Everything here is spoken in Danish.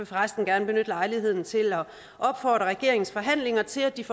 for resten gerne benytte lejligheden til at opfordre regeringens forhandlere til at de får